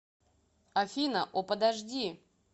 афина о подожди